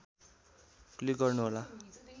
click गर्नुहोला